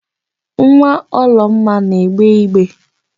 Nwa Ọlụoma na-egbe igbe.